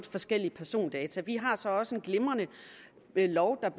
forskellige persondata vi har så også en glimrende lov